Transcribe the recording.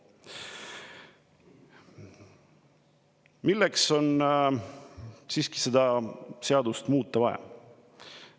Milleks on siis seda seadust vaja muuta?